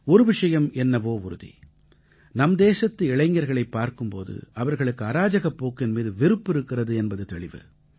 ஒரு விஷயம் என்னவோ உறுதி நம் தேசத்து இளைஞர்களைப் பார்க்கும் போது அவர்களுக்கு அராஜகப் போக்கின் மீது வெறுப்பு இருக்கிறது என்பது தெளிவு